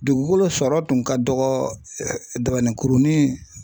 Dugukolo sɔrɔ tun ka dɔgɔ dabaninkurunin